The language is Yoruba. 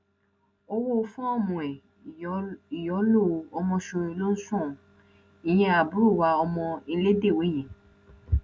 owó fọọmù ẹ ìyọlọ ọmọṣọrẹ ló san án ìyẹn àbúrò wa ọmọ ìlédèwé yẹn